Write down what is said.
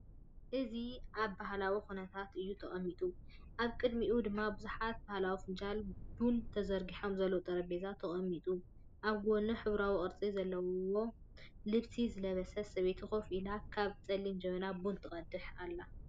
እዚ ኣብ ባህላዊ ኵነታት እዩ ተቐሚጡ። ኣብ ቅድሚኡ ድማ ብዙሓት ባህላዊ ፈናጅል ቡን ተዘርጊሖም ዘለዉ ጠረጴዛ ተቐሚጡ ኣሎ። ኣብ ጐድኒ፡ሕብራዊን ቅርጺ ዘለዎ ልብሲ ዝለበሰት ሰበይቲ ኮፍ ኢላ፡ ካብ ጸሊም ጀበና ቡን ትቀድሕ ኣላ።